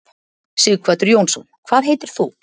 Sighvatur Jónsson: Hvað heitir þú?